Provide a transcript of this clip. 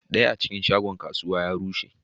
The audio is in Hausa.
Daya a cikin shagunan kasuwa ya rushe.